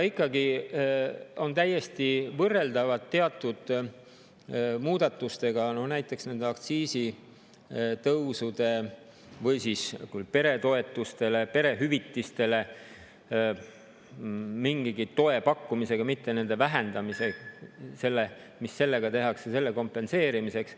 Ikkagi on need täiesti võrreldavad teatud muudatuste, rääkides näiteks aktsiisitõusudest või siis peredele toetuste ja hüvitiste abil mingigi toe pakkumisest, mitte selle vähendamisest, mida tehakse selle kompenseerimiseks.